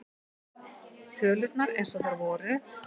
Tölurnar eins og þær voru.